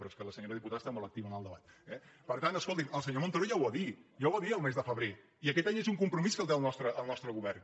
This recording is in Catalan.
però és que la senyora dipu·tada està molt activa en el debat eh per tant escolti’m el senyor montoro ja ho va dir ja ho va dir el mes de febrer i aquest és un compromís que té el nostre govern